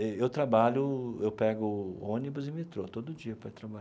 Eu trabalho, eu pego ônibus e metrô todo dia para ir